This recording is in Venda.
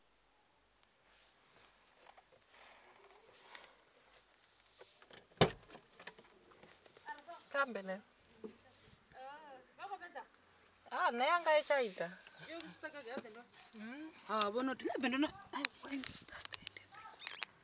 uri vha fainiwe tshelede nnzhi